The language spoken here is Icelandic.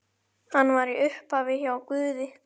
Hann var í upphafi hjá Guði.